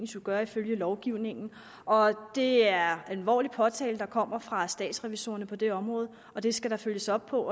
skulle gøre ifølge lovgivningen og det er en alvorlig påtale der kommer fra statsrevisorerne på det område og det skal der følges op på